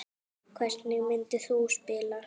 Hvernig myndir þú spila?